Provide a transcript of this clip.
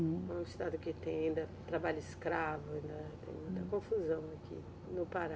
Hum. Um estado que tem ainda trabalho escravo, né, tem muita confusão aqui no Pará.